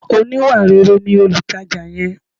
Oníwàréré ni olutaja yẹn.